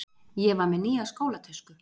Ég var með nýja skólatösku.